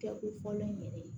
Kɛ u fɔlɔ in yɛrɛ ye